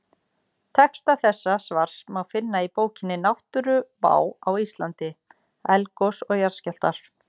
Texta þessa svars má finna í bókinni Náttúruvá á Íslandi: Eldgos og jarðskjálftar.